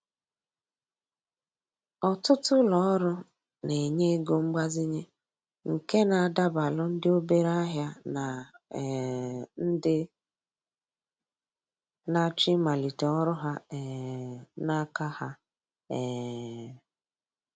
Ọtụtụ ulo ọrụ na-enye ego mgbazinye nke na adabalu ndị obere ahịa na um ndị na-achọ ịmalite ọrụ ha um n’aka ha. um